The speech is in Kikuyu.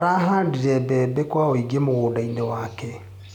Arahandire mbembe kwa wĩingĩ mũgũndainĩ wake.